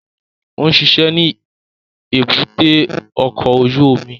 Ó ń ṣiṣẹ́ ní èbúté ọkọ̀ ojú omi